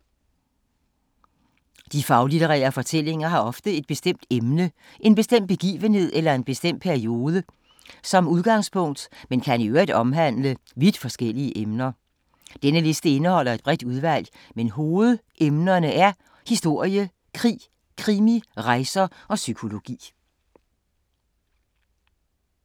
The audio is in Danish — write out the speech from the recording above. De faglitterære fortællinger har ofte et bestemt emne, en bestemt begivenhed eller en bestemt periode som udgangspunkt, men kan i øvrigt omhandle vidt forskellige emner. Denne liste indeholder et bredt udvalg, men hovedemnerne er historie, krig, krimi, rejser og psykologi.